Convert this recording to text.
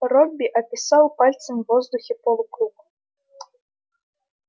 робби описал пальцем в воздухе полукруг